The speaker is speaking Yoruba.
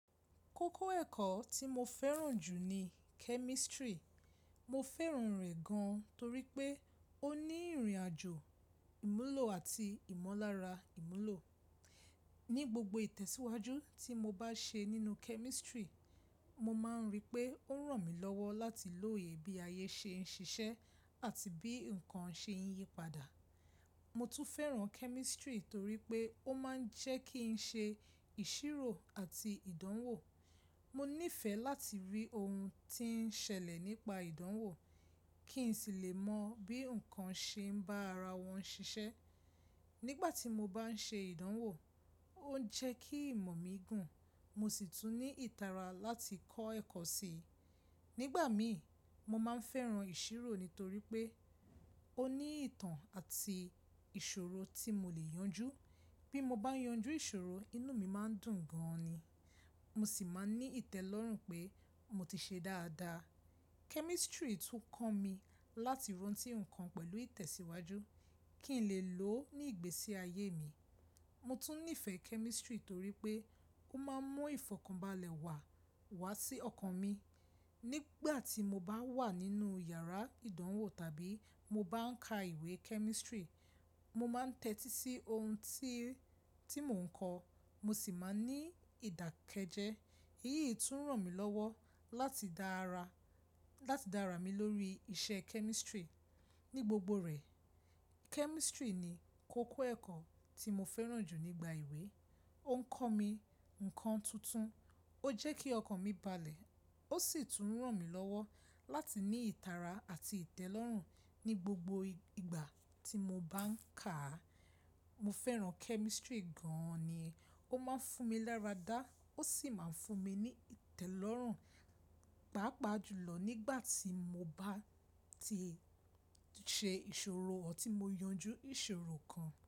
Kókó ẹ̀kọ́ tí mo fẹ́ràn jù ni kẹ́mísítírì. Mo fẹ́ràn rẹ̀ gan torí pé ó ní ìrìnàjò ìmúlò àti ìmọ̀lára ìmúlò. Ni gbogbo ìtẹ̀síwájú tí mo bá ṣe nínú kẹ́mísítírì, mo máa ń rí pé ó ń ràn mí lọ́wọ́ láti lóye bí ayé ṣe ń ṣiṣẹ́ àti bí ǹkan ṣe ń yípadà. Mo tún fẹ́ràn kẹ́mísítírì torí pé ó máa ń jẹ́ kí ń ṣe ìṣírò àti ìdánwò. Mo nífẹ̀ẹ́ láti rí ohun tí ń ṣẹlẹ̀ nípa ìdánwò, kí n sì lè mọ bí ǹkan ṣe ń bá ara wọn ṣiṣẹ́. Nígbà tí mo bá ń ṣe ìdánwò, ó ń jẹ́ kí ìmọ̀ mi gùn, mo sì tún ní ìtara láti kọ́ ẹ̀kọ́ si. Nígbà mi, mo máa ń fẹ́ràn ìṣírò nítorí pé ó ní ìtàn àti ìṣòro tí mo lè yanjú. Bí mo bá yanjú ìṣòro, inú mi máa ń dùn gan ni, mo sì máa ń ní ìtẹ́lọ́rùn pé mo ti ṣe dáadáa. Kẹ́mísítírì tún kọ́ mi láti rántí ǹkan pẹ̀lú ìtẹ̀síwájú, kí n lè lò ó ní ìgbésí ayé mi. Mo tún nífẹ̀ẹ́ kẹ́mísítírì torí pé ó máa ń mú ìfọ̀kànbalẹ̀ wà wá sí ọkàn mi. Nígbà tí mo bá wà nínú yàrá ìdánwò tàbí mo bá ń ka ìwé kẹ́mísítírì, mo máa ń tẹ́tí sí ohun tí, tí mò ń kọ́, mo sì máa ń ní ìdàkejẹ. Èyí tún ràn mí lọ́wọ́ láti dára, láti dára mi lórí iṣẹ́ kẹ́mísítírì. Ní gbogbo rẹ̀, kẹ́mísítírì ni kókó ẹ̀kọ́ tí mo fẹ́ràn jù nígbà ìwé. Ó ń kọ́ mi ǹkan tuntun, ó jẹ́ kí ọkàn mi balẹ̀, ó sì tún ràn mí lọ́wọ́ láti ní ìtara àti ìtẹ́lọ́rùn ní gbogbo ìgbà tí mo bá ń kà á. Mo fẹ́ràn kẹ́mísítírì gan ni. Ó máa ń fún mi lára dá, ó sì máa ń fún mi ní ìtẹ́lọ́rùn, pàápàá jùlọ nígbà tí mo bá ti ṣe ìṣòro ọ́ tí mo yanjú ìṣòro kan.